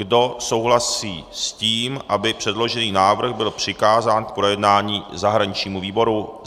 Kdo souhlasí s tím, aby předložený návrh byl přikázán k projednání zahraničnímu výboru?